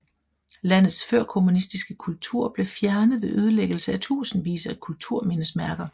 Landets førkommunistsiske kultur blev fjernet ved ødelæggelse af tusindvis af kulturmindesmærker